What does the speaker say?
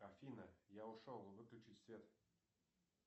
афина я ушел выключи свет